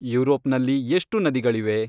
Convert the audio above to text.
ಯುರೋಪ್ನಲ್ಲಿ ಎಷ್ಟು ನದಿಗಳಿವೆ